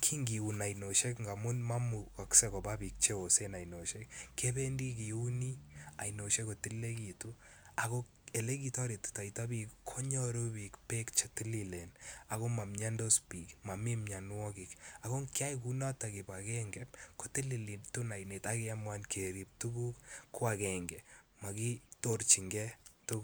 kin kiun ainoshek amun momukokse Koba bik cheosen ainoshek kebendi kiuni oinoshek ako elekitoretitoibik konyoru bik bek chetililen ako momiandos bik mionuokik kiyoe kunoton kibagenge kotilitin oinet akerib tuguk koagengei mokitorchin key tukuk